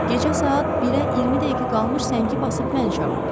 Gecə saat 1-ə 20 dəqiqə qalmış zəngi basıb məni çağırdı.